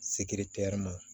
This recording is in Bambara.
Sekire teri ma